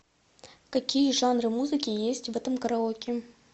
какие жанры музыки есть в этом караоке